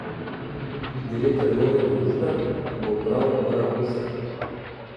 Direktor nove družbe bo prav Rakuša.